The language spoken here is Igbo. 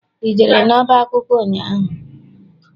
I jere n'ọba akwụkwọ ụnyaahụ?